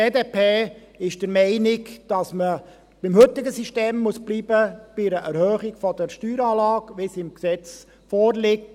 Die BDP ist der Meinung, dass man bei einer Erhöhung der Steueranlage beim heutigen System bleiben muss, wie es im Gesetz vorliegt.